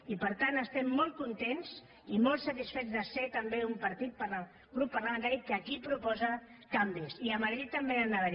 i per tant estem molt contents i molt satisfets de ser també un grup parlamentari que aquí proposa canvis i a madrid també n’hi han d’haver